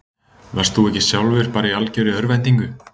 Varst þú ekki sjálfur bara í algjörri örvæntingu?